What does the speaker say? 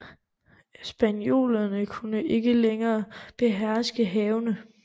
Spaniolerne kunne ikke længere beherske havene